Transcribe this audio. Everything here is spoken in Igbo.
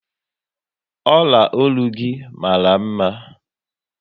Ọla ọlụ gị mara mma